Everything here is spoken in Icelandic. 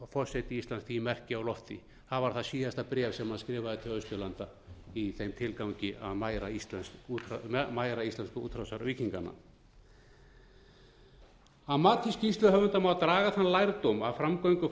forseti íslands því merki á lofti það var það síðasta bréf sem hann skrifaði til austurlanda í þeim tilgangi að mæra íslensku útrásarvíkingana að mati skýrsluhöfunda má daga þann lærdóm af framgöngu